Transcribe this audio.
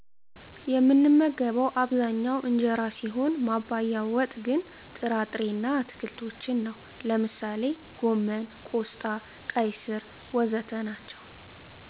የምመገበው አብዛኛው እንጀራ ሲሆን ማባያው ወጥ ግን ጥራ ጥሬ እና አትክልቶችን ነው። ለምሳሌ ጎመን፣ ቆስጣ፣ ቀይ ስር.... ወዘተ ናቸዉ